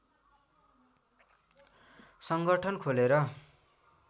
सङ्गठन खोलेर